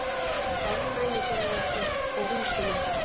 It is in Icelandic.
Ofnæmi fyrir okkur og húsinu!